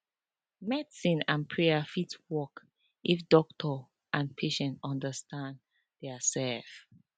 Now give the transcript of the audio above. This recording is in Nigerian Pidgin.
medicine and prayer fit work if doctor and patient understand diasef